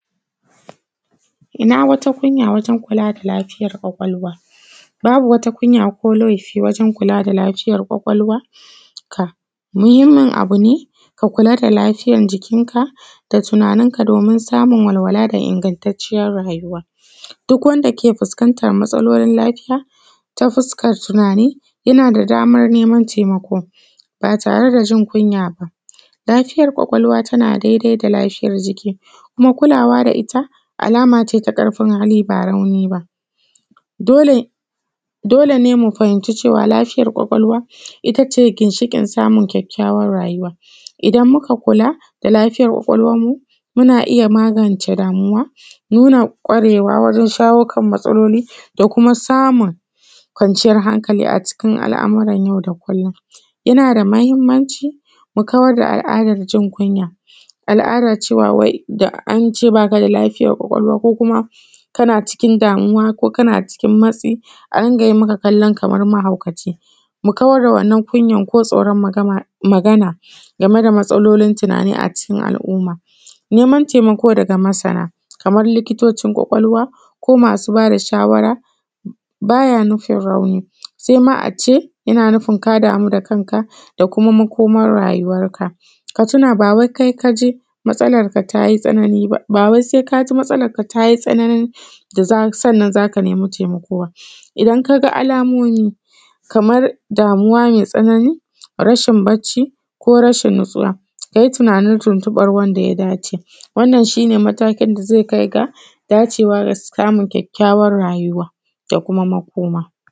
Ina wata kunya wajen kula da lafiyar kwakwalwa. Babu wata kunya ko laifi wajen kula da lafiyar kwakwalwa ka, muhimmin abu ne ka kula da lafiyar jikinka, da tunaninka domin samun walwala da ingantacciyan rayuwa. Duk wanda ke fuskantar matsalolin lafiya ta fuskar tunani, yana da damar neman taimako ba tare da jin kunya ba. Lafiyar kwakwalwa tana dai-dai da lafiyar jiki, kuma kulawa da ita alama ce ta ƙarfin hali ba rauni ba.. Dole dole ne mu fahimci cewa lafiyar kwakwalwa, ita ce ginshiƙin samun kyakykyawan rayuwa. Idan muka kula da lafiyar kwakwalwarmu, muna iya magance damuwa, nuna kwarewa wajen shawo kan matsaloli, da kuma samun kwanciyar hankali a cikin al’amuran yau da kullum. Yana da mahimmanci mu kawar da al'adar jin kunya, al'adar cewa wai, da an ce baka da lafiyar kwakwalwa, ko kuma, kana cikin damuwa ko kana cikin matsi a riƙa yi maka kallo kamar mahaukaci. Mu kawar da wannan kunyar ko tsoron magama magana game da matsalolin tunani a cikin al'umma. Neman taimako daga masana kamar likitocin kwakwalwa ko masu ba da shawara ba ya nufin ra Neman taimako daga masana kamar likitocin kwakwalwa, ko masu ba da shawara ba ya nufin rauni, sai ma a ce yana nufin ka damu da kanka da kuma makomar rayuwarka. Ka tuna ba wai kai ka je matsalarka ta yi tsanani ba, ba wai sai ka ji matsalar ka ta yi tsananin da, sannan zaka nemi taimako ba. Idan ka ga alamomi kamar damuwa mai tsanani, rashin barci, ko rashin nutuswa ka yi tunanin tuntuɓar wanda ya dace,. Wannan shi ne matakin da zai kai ga dacewar samun kyakykyawan rayuwa da kuma makoma.